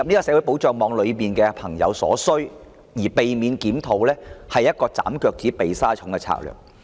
政府若因此而逃避檢討綜援，是"斬腳趾避沙蟲"的做法。